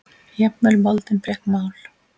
Jafnvel moldin fékk mál.